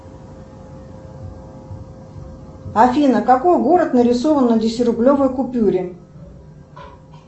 афина какой город нарисован на десятирублевой купюре